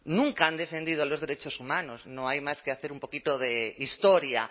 nunca han defendido los derechos humanos no hay más que hacer un poquito de historia